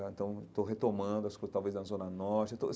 Estou retomando as coisas, talvez, na Zona Norte eu estou.